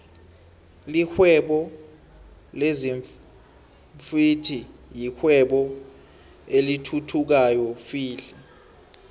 lihwebo lezinfhvthi yirwebo elithuthukayo flhe